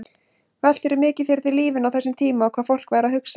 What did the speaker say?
Veltirðu mikið fyrir þér lífinu á þessum tíma og hvað fólk væri að hugsa?